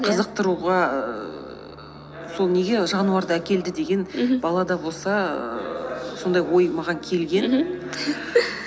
қызықтыруға ііі сол неге жануарды әкелді деген мхм балада болса ііі сондай ой маған келген